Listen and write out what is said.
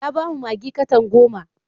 Ya ba mu maggi katan goma.